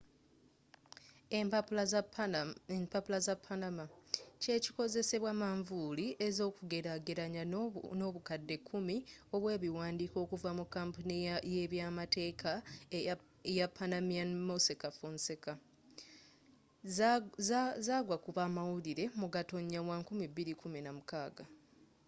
empapula za panama” kyekikozesebwa manvuuli ez’okugelagelanya n’obukadde kumi obwebiwandiiko okuva mu kampuni y’ebyamateeka y’epanamanian mossack fonseca zagwakubamawulire mu gatonya wa 2016